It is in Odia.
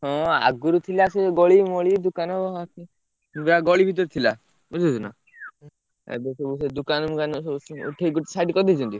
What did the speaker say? ହଁ ଆଗରୁ ଥିଲା ସେ ଗଳି ମଳି ଦୋକାନ ଯାହା ଗଳି ଭିତରେ ଥିଲା ବୁଝି ହଉଛି ନା? ଏବେ ସବୁ ସେ ଦୋକାନ ଫୋକାନ ଉଠେଇ ଦେଇ side କରିଦେଇଛନ୍ତି।